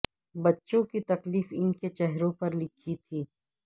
بچوں کی تکلیف ان کے چہروں پر لکھی تھی